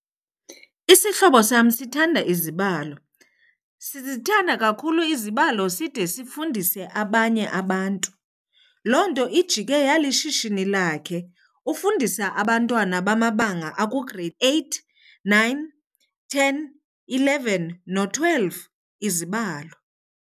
Isihlobo sam sithanda izibalo, sizithanda kakhulu izibalo side sifundise abanye abantu. Loo nto ijike yalishishini lakhe. Ufundisa abantwana bamabanga aku-grade eight, nine, ten, eleven no-twelve izibalo.